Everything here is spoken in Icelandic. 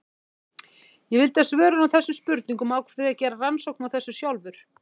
Ég vildi svör við þessum spurningum og ákvað því að gera rannsókn á þessu sjálfur.